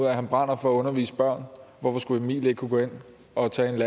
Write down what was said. af at han brænder for at undervise børn hvorfor skulle emil ikke kunne gå hen og tage en